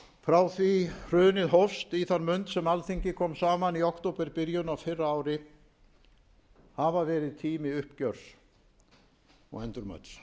frá því hrunið hófst í þann mund sem alþingi kom saman í októberbyrjun á fyrra ári hafa verið tími uppgjörs og endurmats